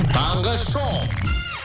таңғы шоу